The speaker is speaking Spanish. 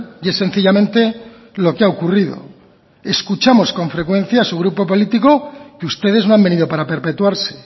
y es sencillamente lo que ha ocurrido escuchamos con frecuencia a su grupo político que ustedes no han venido para perpetuarse